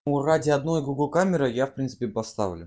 ну ради одной гугл камеры я в принципе поставлю